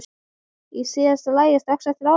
Í síðasta lagi strax eftir áramót.